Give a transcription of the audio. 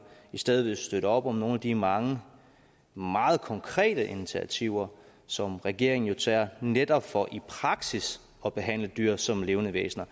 i stedet ville støtte op om nogle af de mange meget konkrete initiativer som regeringen jo tager netop for i praksis at behandle dyr som levende væsener